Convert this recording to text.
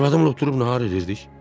Arvadımla oturub nahar edərdik.